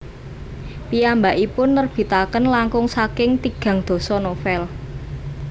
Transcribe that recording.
Piyambakipun nerbitaken langkung saking tigang dasa novel